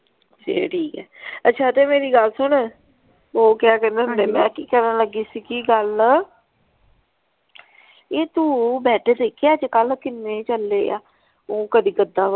ਫੇਰ ਠੀਕ ਆ ਅੱਛਾ ਤੇ ਮੇਰੀ ਗੱਲ ਸੁਣ ਉਹ ਕਿਆ ਕਹਿੰਦੇ ਮੈਂ ਕੀ ਕਹਿਣ ਲੱਗੀ ਸੀ ਕੀ ਗੱਲ ਇਹ ਤੂੰ ਬਾਅਦ ਦੇਖੇ ਆ ਅੱਜ ਕੱਲ ਕਿੰਨੇ ਚੱਲੇ ਆ ਉਹ ਕਦੀ ਗੱਦਾ।